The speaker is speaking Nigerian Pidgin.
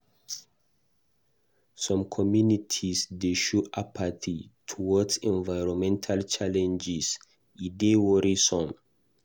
Some communities dey show apathy towards environmental challenges; e dey worrisome.